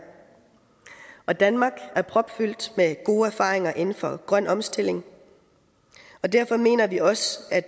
og danmark er propfyldt med gode erfaringer inden for grøn omstilling og derfor mener vi også at